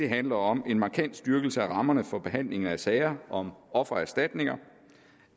handler om en markant styrkelse af rammerne for behandling af sager om offererstatninger